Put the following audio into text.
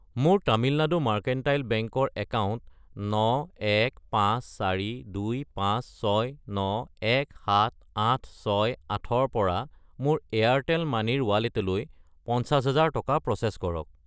মোৰ Tamil Nadu mercantile bank ৰ account 9154256917868 ৰ পৰা মোৰ এয়াৰটেল মানি ৰ ৱালেটলৈ 50000 টকা প্ৰ'চেছ কৰক।